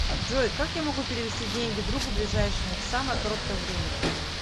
джой как я могу перевести деньги другу ближайшему в самое короткое время